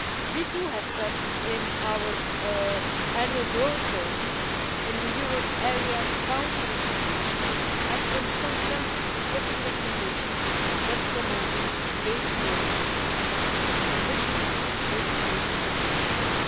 We too have said in our Annual Growth Survey, in the euro area Council recommendation and in some country-specific recommendations that promoting wage growth under certain conditions would be a good thing.